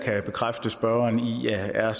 er